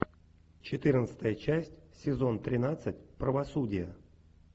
четырнадцатая часть сезон тринадцать правосудие